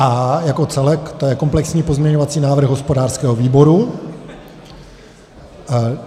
A jako celek, to je komplexní pozměňovací návrh hospodářského výboru.